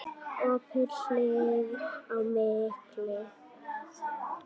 Opið hlið á milli.